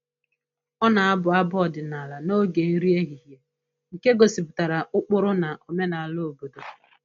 Ọ na-abụ abụ ọdịnala n'oge nri ehihie nke gosipụtara ụkpụrụ na omenala obodo